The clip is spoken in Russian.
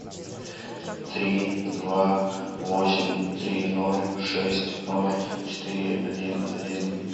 три два восемь три ноль шесть ноль четыре один один